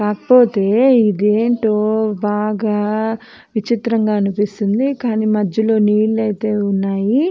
కాకపోతే ఇదేంటో బాగా విచిత్రంగా ఆనిపిస్తుంది కానీ మధ్యలో నీళ్లు ఐతే ఉన్నాయి.